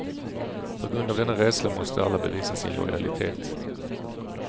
På grund av denna rädsla måste alla bevisa sin lojalitet.